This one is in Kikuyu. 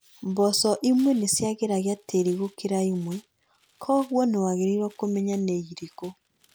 mboco imwe nĩciagĩragia tĩĩri gũkĩra imwe, kwogwo nĩwagĩrĩirwo kũmenya nĩirĩkũ